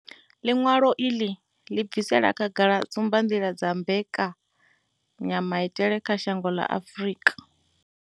Ḽiṅwalo iḽi ḽi bvisela khagala tsumbanḓila dza mbekanya maitele kha shango ḽa Afrika.